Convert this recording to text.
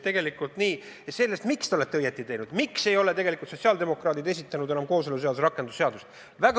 Miks te olete õigesti teinud, kui te ei ole esitanud enam kooseluseaduse rakendamise seadust?